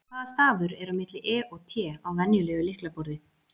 Hvaða stafur er á milli E og T á venjulegu lyklaborði?